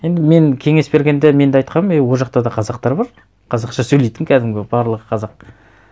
енді мен кеңес бергенде мен де айтқанмын ей ол жақта да қазақтар бар қазақша сөйлейтін кәдімгі барлығы қазақ